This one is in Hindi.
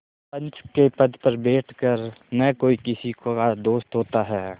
पंच के पद पर बैठ कर न कोई किसी का दोस्त होता है